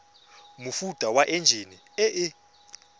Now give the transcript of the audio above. mofuta wa enjine e e